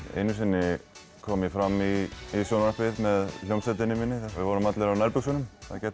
einu sinni kom ég fram í sjónvarpi með hljómsveitinni minni við vorum allir á nærbuxunum